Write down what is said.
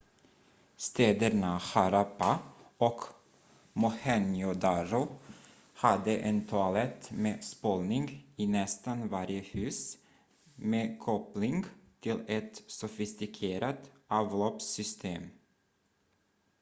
städerna harappa och mohenjo-daro hade en toalett med spolning i nästan varje hus med koppling till ett sofistikerat avloppssystem